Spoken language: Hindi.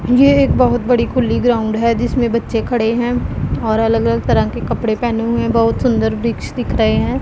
ये एक बहोत बड़ी खुली ग्राउंड है। जिसमें बच्चे खड़े हैं और अलग-अलग तरह के कपड़े पहने हुए बहुत सुंदर वृक्ष दिख रहे हैं।